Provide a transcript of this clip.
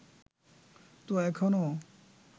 তো এখনো